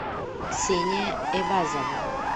ксения эвазова